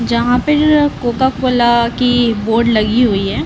जहां पे जो अअ कोका कोला की बोर्ड लगी हुई है।